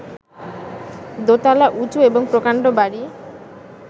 দোতলা উঁচু এবং প্রকাণ্ড বাড়ি